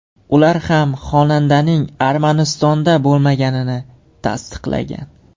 Ular ham xonandaning Armanistonda bo‘lmaganini tasdiqlagan.